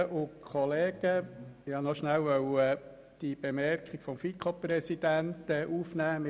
Ich wollte noch kurz die Bemerkung des FiKo-Präsidenten aufnehmen.